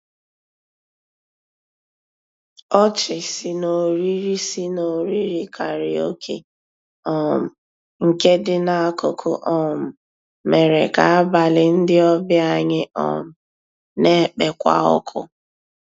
Ọchị sì n'òrìrì sì n'òrìrì kàráòké um nkè dị n'akụkụ um mèrè kà àbàlí ndị ọbìà anyị um nà-ekpékwa ọkụ.